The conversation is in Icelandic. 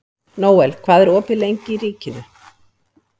Nóel, hvað er opið lengi í Ríkinu?